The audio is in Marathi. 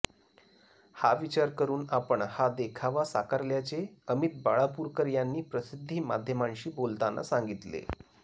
हा विचार करून आपण हा देखावा साकारल्याचे अमित बाळापूरकर यांनी प्रसिद्धी माध्यमांशी बोलताना सांगितले